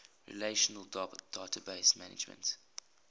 relational database management